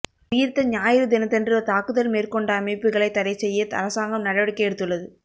உயிர்த்த ஞாயிறு தினத்தன்று தாக்குதல் மேற்கொண்ட அமைப்புக்களை தடை செய்ய அரசாங்கம் நடவடிக்கை எடுத்துள்ளது